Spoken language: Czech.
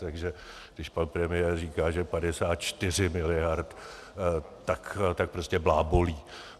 Takže když pan premiér říká, že 54 miliard, tak prostě blábolí.